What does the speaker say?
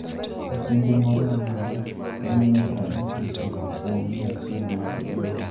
E kinde moro amora, waneno 59 kuom mia achiel mag Dwe.